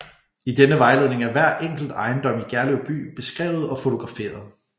I denne vejledning er hver enkelt ejendom i Gerlev by beskrevet og fotograferet